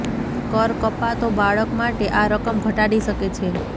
કર કપાતો બાળક માટે આ રકમ ઘટાડી શકે છે